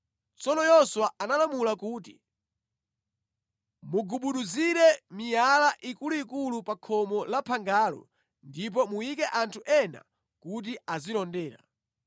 Tsono Yoswa analamula kuti, “Mugubuduzire miyala ikuluikulu pa khomo la phangalo, ndipo muyike anthu ena kuti azilondera.